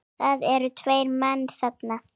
Það eru tveir menn þarna